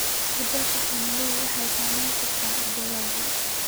Isbeddelka cimiladu waxay saameyn kartaa dalagyada.